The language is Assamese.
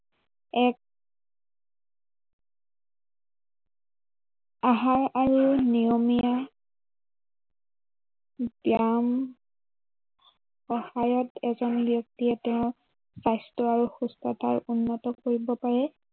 আহাৰ আৰু নিয়মীয়া ব্য়ায়াম সহায়ত এজন ব্য়ক্তিয়ে তেওঁৰ স্বাস্থ্য় আৰু সুস্থতা উন্নত কৰিব পাৰে।